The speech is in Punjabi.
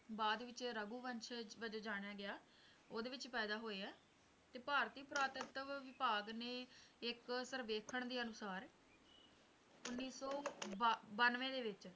ਬਾਅਦ ਵਿੱਚ ਰਘੁਵਸ਼ਨ ਵਜੋਂ ਜਾਣਿਆ ਗਿਆ ਓਹਦੇ ਵਿੱਚ ਹੀ ਪੈਦਾ ਹੋਏ ਨੇ ਤੇ ਭਾਰਤੀ ਪੁਰਾਤਤਵ ਵਿਭਾਗ ਨੇ ਇੱਕ ਸਰਵੇਖਣ ਦੇ ਅਨੁਸਾਰ ਉੱਨੀ ਸੌ ਬੰਨਵੇਂ ਦੇ ਵਿੱਚ